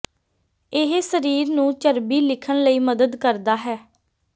ਇਹ ਸਰੀਰ ਨੂੰ ਚਰਬੀ ਲਿਖਣ ਲਈ ਮਦਦ ਕਰਦਾ ਹੈ